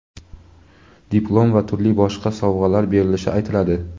diplom va turli boshqa sovg‘alar berilishi aytiladi.